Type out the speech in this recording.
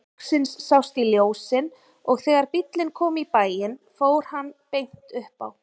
Loksins sást í ljósin og þegar bíllinn kom í bæinn fór hann beint upp á